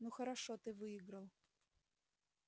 ну хорошо ты выиграл